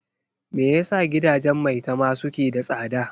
Me yasa gidajen Maitama suke da tsada?